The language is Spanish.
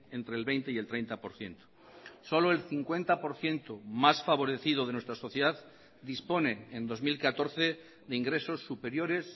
entre el veinte y el treinta por ciento solo el cincuenta por ciento más favorecido de nuestra sociedad dispone en dos mil catorce de ingresos superiores